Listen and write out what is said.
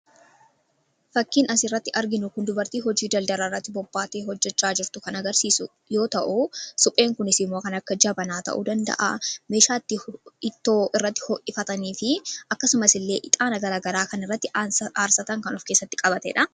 Fakkiin asirratti arginu dubartii hojii daldalaa irratti bobbaatee hojjechaa jirtu kan agarsiisu yoo ta’u, supheen kunis immoo waan akka jabanaa ta'uu danda’a akkasumas meeshaa irratti ixaana aarsan fi ittoo itti hojjetan ta'uu ni danda’a.